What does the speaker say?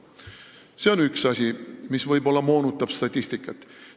See on üks asi, mis võib-olla moonutab statistikat.